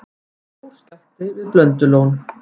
Stór skjálfti við Blöndulón